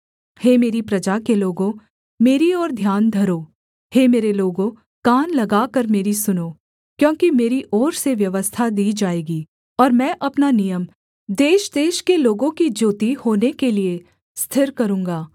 हे मेरी प्रजा के लोगों मेरी ओर ध्यान धरो हे मेरे लोगों कान लगाकर मेरी सुनो क्योंकि मेरी ओर से व्यवस्था दी जाएगी और मैं अपना नियम देशदेश के लोगों की ज्योति होने के लिये स्थिर करूँगा